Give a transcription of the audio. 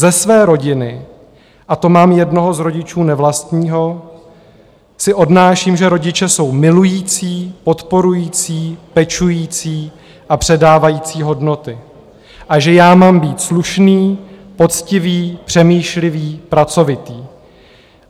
Ze své rodiny, a to mám jednoho z rodičů nevlastního, si odnáším, že rodiče jsou milující, podporující, pečující a předávající hodnoty a že já mám být slušný, poctivý, přemýšlivý, pracovitý.